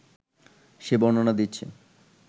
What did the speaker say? সে বর্ণনা দিচ্ছে